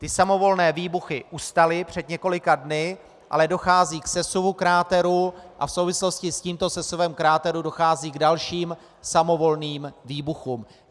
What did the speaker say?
Ty samovolné výbuchy ustaly před několika dny, ale dochází k sesuvu kráteru a v souvislosti s tímto sesuvem kráteru dochází k dalším samovolným výbuchům.